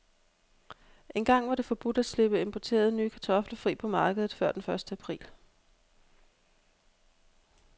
Engang var det forbudt at slippe importerede, nye kartofler fri på markedet før den første april.